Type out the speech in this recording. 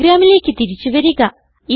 പ്രോഗ്രാമിലേക്ക് തിരിച്ചു വരിക